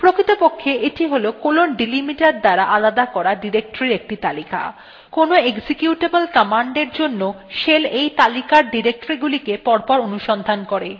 প্রকৃতপক্ষে এইটি : colon delimiter দ্বারা আলাদা করা ডিরেক্টরীর একটি তালিকা কোনো executable command এর জন্য shell এই তালিকার ডিরেক্টরীগুলিকে পরপর অনুসন্ধান করে